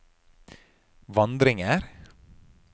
vandringer